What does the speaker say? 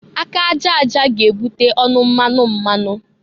Aka aja aja ga-ebute ọnụ mmanụ mmanụ.